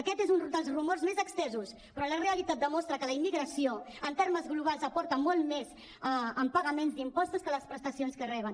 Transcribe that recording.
aquest és un dels rumors més estesos però la realitat demostra que la immigració en termes globals aporta molt més en pagaments d’impostos que les prestacions que reben